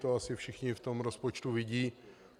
To asi všichni v tom rozpočtu vidí.